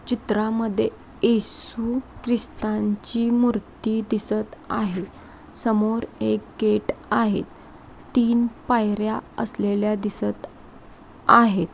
चित्रा मध्ये येसू ख्रिस्थानची मूर्ती दिसत आहे. समोर एक गेट आहे. तीन पायर्‍या असलेल्या दिसत आहे.